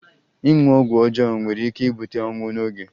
Ịṅụ ọgwụ ọjọọ nwere ike ibute ọnwụ n'oge.